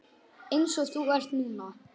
Einsog þú ert núna.